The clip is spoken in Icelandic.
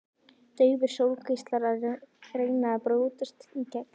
Daufir sólgeislar að reyna að brjótast í gegn.